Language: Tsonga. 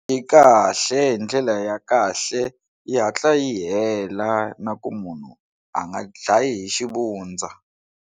Yi kahle hi ndlela ya kahle yi hatla yi hela na ku munhu a nga dlayi hi xivundza.